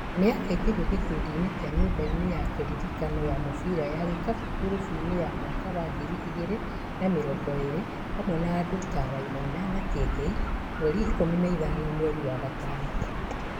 Nĩ akaingĩrio gĩkundinĩ kĩu nyumbainĩ ya kĩririkano ya mubira wa gĩkabu ngurubuinĩ ya mwaka wa ngiri igĩri na mĩrongo ĩrĩ hamwe na andũ ta Wainaina na Kĩengei mweri ikũmi na ithano, mwerĩ wa gatano.